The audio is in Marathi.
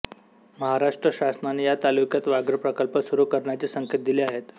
महाराष्ट्र शासनाने या तालुक्यात व्याघ्रप्रकल्प सुरू करण्याचे संकेत दिले आहेत